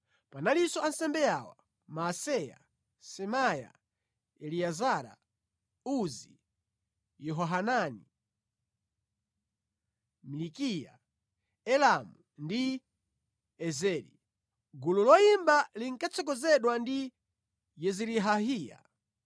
Panalinso ansembe awa: Maaseya, Semaya, Eliezara, Uzi, Yehohanani, Milikiya, Elamu ndi Ezeri. Gulu loyimba linkatsogozedwa ndi Yezirahayiya.